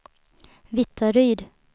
Vittaryd